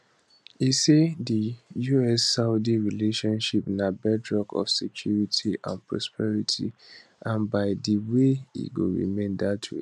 e say di us saudi relationship na bedrock of security and prosperity and by di way e go remain dat way